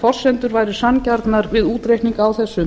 forsendur væru sanngjarnar við útreikning á þessum